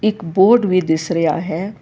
ਇਕ ਬੋਰਡ ਵੀ ਦਿਸ ਰਿਹਾ ਹੈ।